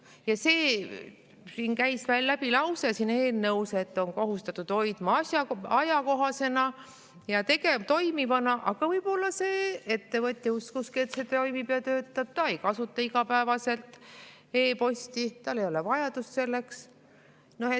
Ja siin eelnõus käis veel läbi lause, et on kohustatud hoidma ajakohasena ja toimivana, aga võib-olla see ettevõtja uskuski, et see toimib ja töötab, ta ei kasuta igapäevaselt e‑posti, tal ei ole vajadust selleks.